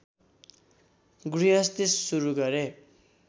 गृहस्थी सुरु गरे